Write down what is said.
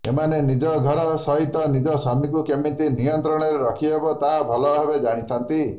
ଏମାନେ ନିଜ ଘର ସହିତ ନିଜ ସ୍ୱାମୀଙ୍କୁ କେମିତି ନିୟନ୍ତ୍ରଣରେ ରଖି ହେବ ତାହା ଭଲ ଭାବେ ଜାଣିଥାନ୍ତି